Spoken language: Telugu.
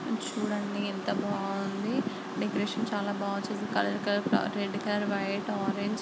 చుడండి ఎంత బాగుంది డెకొరేషన్ చాలా బాగా చేసి కలర్ రెడ్ వైట్ ఆరంజ్ .